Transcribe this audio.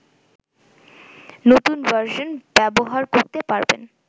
নতুন ভার্সন ব্যবহার করতে পারবেন